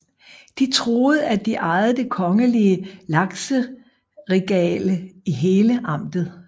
De troede at de ejede det kongelige lakseregale i hele amtet